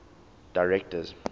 directors